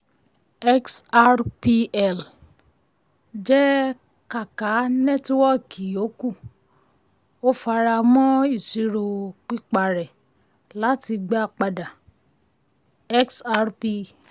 xrpl um jẹ́ kákà nẹ́tíwọ́kì yòókù; um ó fara mọ́ ìṣirò piparẹ́ láti gba padà um xrp.